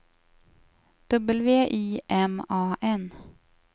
W I M A N